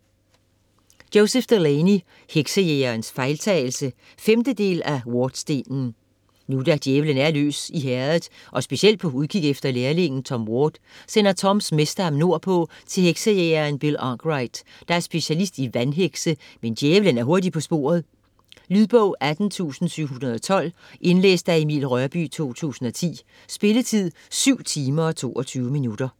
Delaney, Joseph: Heksejægerens fejltagelse 5. del af Wardstenen. Nu da djævelen er løs i Herredet og specielt på udkig efter lærlingen Tom Ward, sender Toms mester ham nordpå til Heksejægeren Bill Arkwright, der er specialist i Vandhekse, men djævelen er hurtigt på sporet... Lydbog 18712 Indlæst af Emil Rørbye, 2010. Spilletid: 7 timer, 22 minutter.